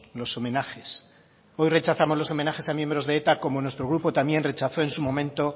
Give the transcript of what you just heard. los homenajes hoy rechazamos los homenajes a miembros de eta como nuestro grupo también rechazó en su momento